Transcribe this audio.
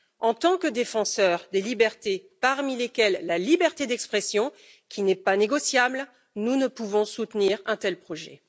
En tant que défenseurs des libertés, parmi lesquelles la liberté d'expression, qui n'est pas négociable, nous ne pouvons soutenir un tel projet.